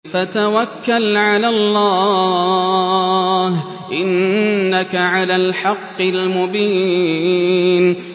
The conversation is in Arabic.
فَتَوَكَّلْ عَلَى اللَّهِ ۖ إِنَّكَ عَلَى الْحَقِّ الْمُبِينِ